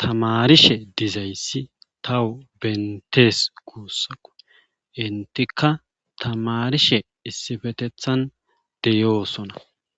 tamarishe dizayssi tawu bentees guussako intika tamarishe issifetethan deyoosona